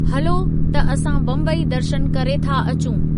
हलो, त असां बम्बई दर्शन करे था अचूं।